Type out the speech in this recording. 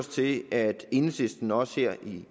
se at enhedslisten også her